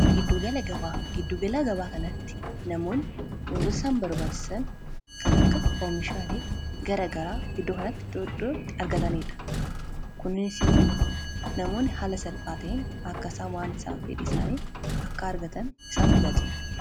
giddugalaa gabaa kanatti namoonni wantoota isaan barbaachisan kan akka oomishaalee gara garaa iddoo kanatti argataniidha. kunis immoo namoonni haala salphaa ta'een akka isaan waan isaan fedhan akka argatan isaan tajaajila.